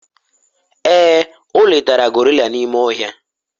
ee, o letara gorilla n'ime ohia